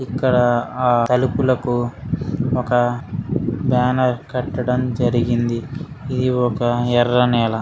ఇక్కడ ఆ తలుపులకు ఒక బ్యానర్ కట్టడం జరిగింది ఇది ఒక ఎర్ర నేల.